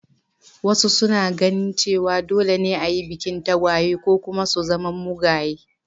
Wasu suna ganin cewa dole ne a yi bikin tagwaye, ko kuma tagwayen sun zama mugaye.